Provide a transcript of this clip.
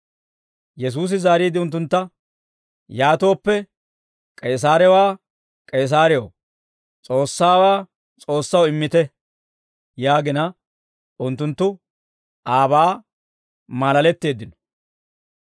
Yesuusi zaariide unttuntta, «Yaatooppe, K'eesaarewaa K'eesaarew, S'oossaawaa S'oossaw immite» yaagina unttunttu aabaa maalaletteeddino.